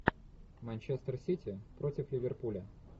манчестер сити против ливерпуля